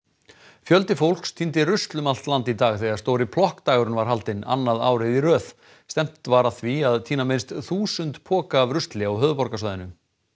fjöldi fólks tíndi rusl um allt land í dag þegar stóri plokkdagurinn var haldinn annað árið í röð stefnt var að því að tína minnst þúsund poka af rusli á höfuðborgarsvæðinu